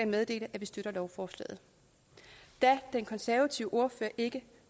meddele at vi støtter lovforslaget da den konservative ordfører ikke